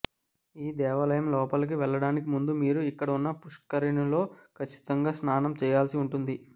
ఈ దేవాలయంలోపలికి వెళ్లడానికి ముందు మీరు ఇక్కడ ఉన్న పుష్కరిణిలో ఖచ్చితంగా స్నానం చేయాల్సి ఉంటుంది